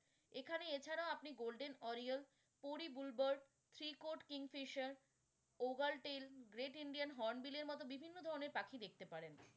এখানে এছাড়াও আপনি golden oriole, fairy blue bird, three code kingfisher, ogal tale, great indian hornbill এর মতোবিভিন্ন ধরণের পাখি দেখতে পারেন।